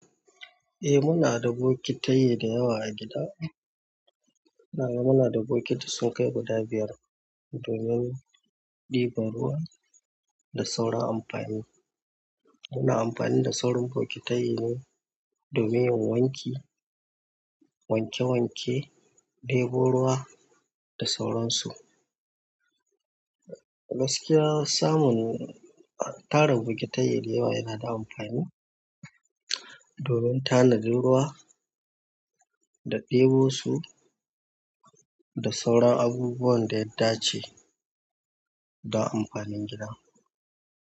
Eh muna da bokitai da yawa a gida, ahh muna da bokiti sun kai guda biyar domin ɗibar ruwa da sauran amfani, wannan amfani da sauran bokita yi ne domin wanki, wanke wanke, ɗebo ruwa da sauran su. Gaskiya samun tarin bokitai da yawa yana da amfani, domin tanadin ruwa da ɗebo su, da sauran abubuwan ɗaya dace don amfanin gida.